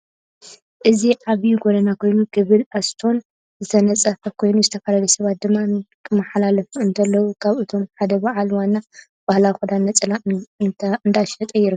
እዚ ዓብይ ጎደና ኮይኑ ከብል እስቶን ዝተነፀፈ ኮይኑ ዝተፈላለዩ ስባት ድማ ክማሓላለፉ እንተለው ካብ አቶም ሓደ ባዓል ዋና ባህላዊ ክዳን ነፀላ እዳሸጠ ይርከብ